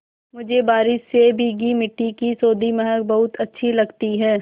मुझे बारिश से भीगी मिट्टी की सौंधी महक बहुत अच्छी लगती है